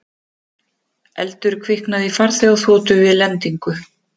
Eldur kviknaði í farþegaþotu við lendingu